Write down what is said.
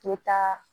Te taa